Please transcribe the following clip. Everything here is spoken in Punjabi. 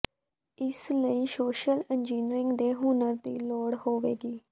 ਇਸ ਲਈ ਸੋਸ਼ਲ ਇੰਜੀਨੀਅਰਿੰਗ ਦੇ ਹੁਨਰ ਦੀ ਲੋੜ ਹੋਵੇਗੀ